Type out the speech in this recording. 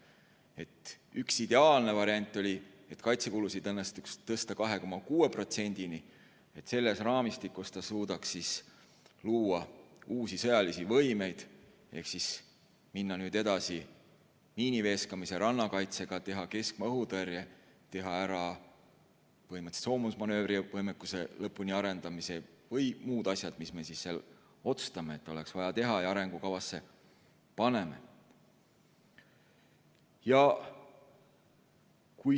Esimene, ideaalne variant oli, et kaitsekulusid õnnestuks tõsta 2,6%-ni, et me suudaks luua uusi sõjalisi võimeid ehk minna edasi miiniveeskamise ja rannakaitsega, teha keskmaa õhutõrje, arendada lõpuni soomusmanöövervõimekuse ja muud asjad, mis me otsustame, et oleks vaja teha ja mille me arengukavasse paneme.